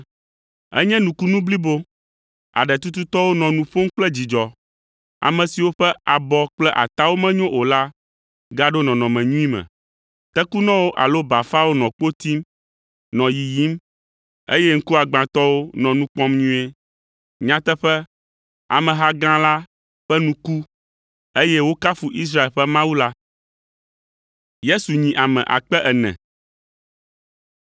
Enye nukunu blibo! Aɖetututɔwo nɔ nu ƒom kple dzidzɔ, ame siwo ƒe abɔ kple atawo menyo o la gaɖo nɔnɔme nyui me, tekunɔwo alo bafawo nɔ kpo tim, nɔ yiyim, eye ŋkuagbãtɔwo nɔ nu kpɔm nyuie! Nyateƒe, ameha gã la ƒe nu ku, eye wokafu Israel ƒe Mawu la.